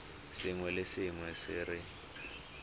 sengwe le sengwe se re